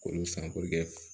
K'olu san